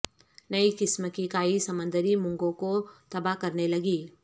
نئی قسم کی کائی سمندری مونگوں کو تباہ کرنے لگی